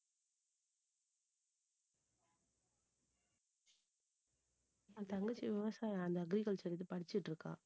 என் தங்கச்சி விவசாயம், அந்த agriculture க்கு படிச்சிட்டிருக்கா